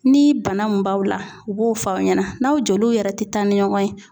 Ni bana mun b'aw la u b'o fɔ a ɲɛna n'aw joliw yɛrɛ tɛ taa ni ɲɔgɔn ye